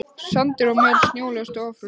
Sandur og möl snjólaust og ófrosið.